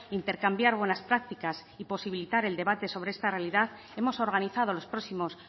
intercambiar buenas prácticas y posibilitar el debate sobre esta realidad hemos organizado los próximos